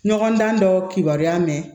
Ɲɔgɔndan dɔ kibaruya mɛ